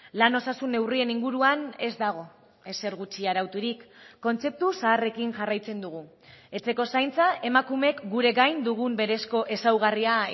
lan osasun neurrien inguruan ez dago ezer gutxi arauturik kontzeptu zaharrekin jarraitzen dugu etxeko zaintza emakumeek gure gain dugun berezko ezaugarria